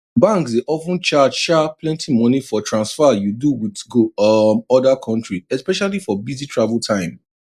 banks dey of ten charge um plenty money for transfer you do wit go um other country especially for busy travel time